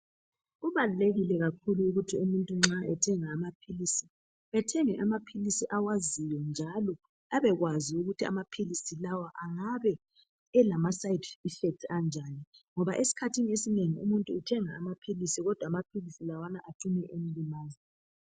Kubalulekile kakhulu ukuthi umuntu nxa ethenga amaphilisi ethenge amaphilisi awaziyo njalo abekwazi ukuthi amaphilisi lawa angabe elama side effects anjani ngoba esikhathini esinengi umuntu uthenga amaphilisi kodwa amaphilisi lawana acine emlimaza.